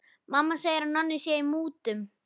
Mamma segir að Nonni sé í mútum.